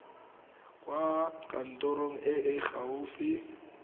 kwa kantorong e e gaufi